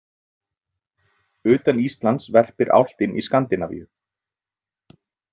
Utan Íslands verpir álftin í Skandinavíu.